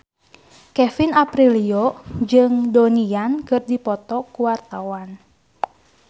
Kevin Aprilio jeung Donnie Yan keur dipoto ku wartawan